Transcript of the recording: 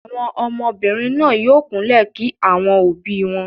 Àwọn ọmọbìnrin náà yóò kúnlẹ̀ kí àwọn òbí wọn.